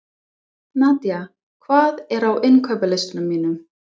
Nadia, hvað er á innkaupalistanum mínum?